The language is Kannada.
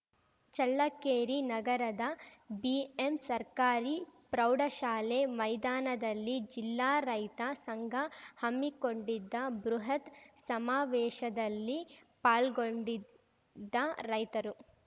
ಚಳ್ಳಕೇರಿ ನಗರದ ಬಿಎಂ ಸರ್ಕಾರಿ ಪ್ರೌಢಶಾಲೆ ಮೈದಾನದಲ್ಲಿ ಜಿಲ್ಲಾ ರೈತ ಸಂಘ ಹಮ್ಮಿಕೊಂಡಿದ್ದ ಬೃಹತ್‌ ಸಮಾವೇಶದಲ್ಲಿ ಪಾಲ್ಗೊಂಡಿದ್ದ ರೈತರು